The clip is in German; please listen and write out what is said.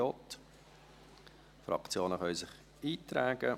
Die Fraktionen können sich in die Rednerliste eintragen.